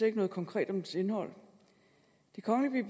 ikke noget konkret om dens indhold det kongelige